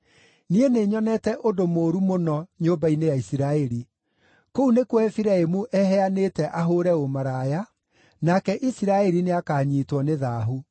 Niĩ nĩnyonete ũndũ mũũru mũno nyũmba-inĩ ya Isiraeli. Kũu nĩkuo Efiraimu eheanĩte ahũũre ũmaraya, nake Isiraeli nĩakanyiitwo nĩ thaahu.